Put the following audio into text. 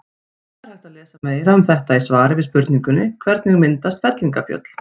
Það er hægt að lesa meira um þetta í svari við spurningunni Hvernig myndast fellingafjöll?